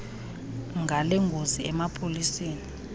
ngale ngozi emapoliseni